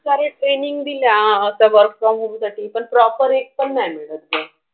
कारण training दिला आता work from home साठी तर proper एक पण नाही मिळत मग.